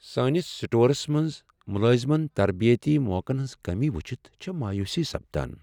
سٲنس سٹورس منٛز ملٲزمن تربیتی موقعن ہٕنٛز کٔمی وُچھِتھ چھےٚ مایوُسی سپدان ۔